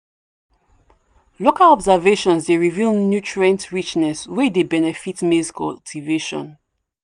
local observations dey reveal nutrient richness wey dey benefit maize cultivation.